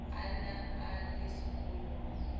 a ne a le sekolong